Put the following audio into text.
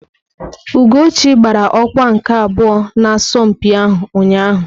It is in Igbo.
Ugochi gbara ọkwa nke abụọ n'asọmpi ahụ ụnyahụ.